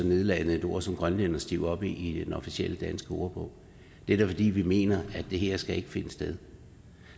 nedladende et ord som grønlænderstiv op i i den officielle danske ordbog det er da fordi vi mener at det her ikke skal finde sted